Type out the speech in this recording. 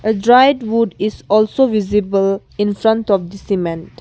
dried wood is also visible in front of the cement.